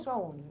Isso aonde?